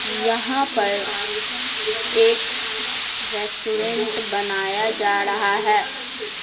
यहाँ पर एक रेस्टोरेंट बनाया जा रहा है ।